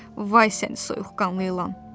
Vay səni soyuqqanlı ilan!